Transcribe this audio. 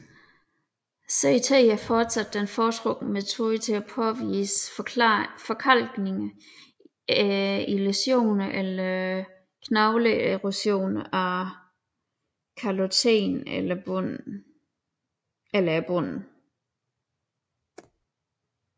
CT er fortsat den foretrukne metode til at påvise forkalkninger i læsioner eller knogleerosion af kaloten eller bunden